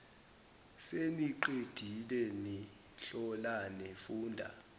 seniqedile nihlolane funda